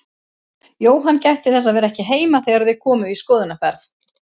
Jóhann gætti þess að vera ekki heima þegar þau komu í skoðunarferð.